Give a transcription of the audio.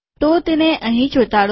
તો તેને અહીં ચોંટાડું